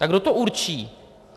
A kdo to určí?